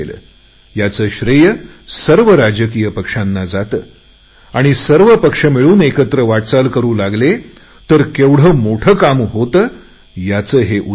याचे श्रेय सर्व राजकीय पक्षांना जाते आणि सर्व पक्ष मिळून एकत्र वाटचाल करु लागले तर केवढे मोठे काम होते याचे हे उदाहरण आहे